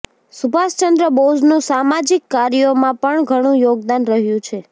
સુભાષચંદ્ર બોઝનું સામાજિક કાર્યોમાં પણ ઘણું યોગદાન રહ્યું છે